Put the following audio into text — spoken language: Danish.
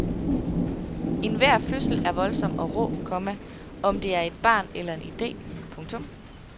Enhver fødsel er voldsom og rå, komma om det er et barn eller en idé. punktum